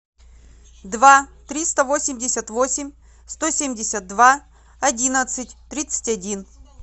два триста восемьдесят восемь сто семьдесят два одиннадцать тридцать один